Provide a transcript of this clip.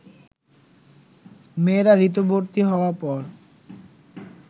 মেয়েরা ঋতুবতী হওয়ার পর